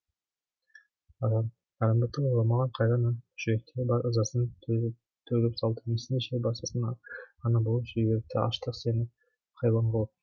арамдықты ойламаған қайран аң жүректегі бар ызасын төгіп салды несіне жер басасың ана болып жіберіпті аштық сені хайуан қылып